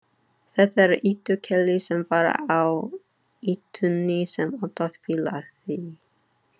Þetta er Ýtu-Keli, sem var á ýtunni sem alltaf bilaði.